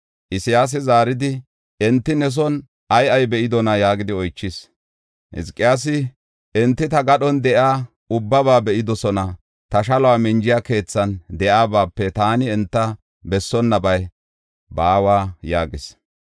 Isayaasi zaaridi, “Enti ne son ay ay be7idonaa?” yaagidi oychis. Hizqiyaasi, “Enti ta gadhon de7iya ubbaba be7idosona; ta shaluwa minja keethan de7iyabaape taani enta bessonnabay baawa” yaagis.